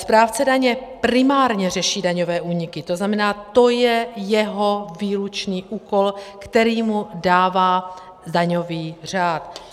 Správce daně primárně řeší daňové úniky, to znamená, to je jeho výlučný úkol, který mu dává daňový řád.